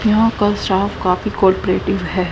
यहां का स्टाफ काफी कॉरपोरेटिव है।